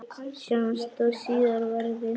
Sjáumst þó síðar verði.